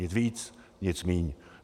Nic víc, nic míň.